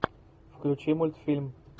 включи мультфильм